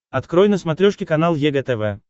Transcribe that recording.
открой на смотрешке канал егэ тв